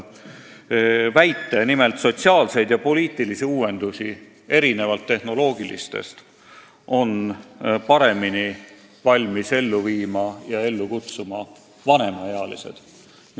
Nimelt, erinevalt tehnoloogilistest uuendustest on sotsiaalseid ja poliitilisi uuendusi paremini valmis ellu viima ja ellu kutsuma vanemaealised.